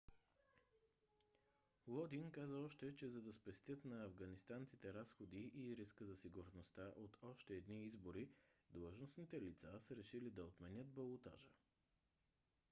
лодин каза още че за да спестят на афганистанците разходите и риска за сигурността от още едни избори длъжностните лица са решили да отменят балотажа